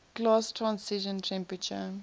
glass transition temperature